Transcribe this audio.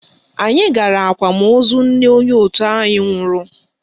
Anyị gara akwamozu nne onye òtù anyị nwụrụ